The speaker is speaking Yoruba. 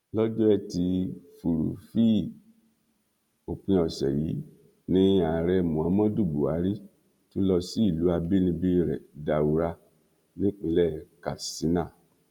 lọjọ etí furuufee òpin ọsẹ yìí ni ààrẹ muhammadu buhari tún lọ sí ìlú àbínibí rẹ daura nípínlẹ katsina